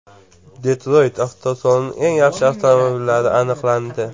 Detroyt avtosalonining eng yaxshi avtomobillari aniqlandi .